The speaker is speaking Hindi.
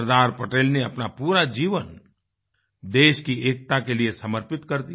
सरदार पटेल ने अपना पूरा जीवन देश की एकता के लिए समर्पित कर दिया